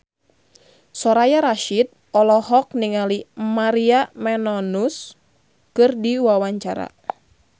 Soraya Rasyid olohok ningali Maria Menounos keur diwawancara